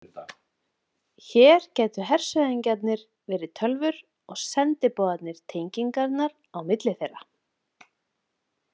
Hér gætu hershöfðingjarnir verið tölvur og sendiboðarnir tengingarnar á milli þeirra.